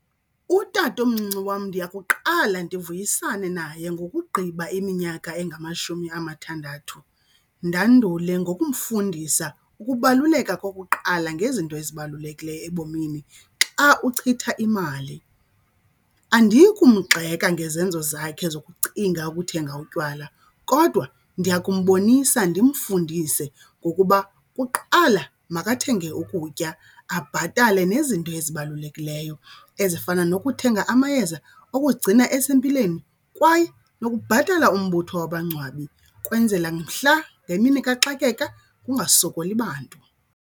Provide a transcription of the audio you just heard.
Utatomncinci wam ndiya kuqala ndivuyisane naye ngokugqiba iminyaka engamashumi amathandathu. Ndandule ngokumfundisa ukubaluleka kokuqala ngezinto ezibalulekileyo ebomini xa uchitha imali. Andiyi kumgxeka ngezenzo zakhe zokucinga ukuthenga utywala kodwa ndiya kumbonisa ndimfundise ngokuba kuqala makathenge ukutya, abhatale nezinto nto ezibalulekileyo ezifana nokuthenga amayeza okuzigcina esempilweni kwaye nokubhatala umbutho wabangcwabi kwenzela mhla ngemini kaxakeka kungasokoli bantu.